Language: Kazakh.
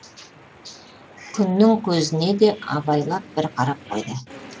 күннің көзіне де абайлап бір қарап қойды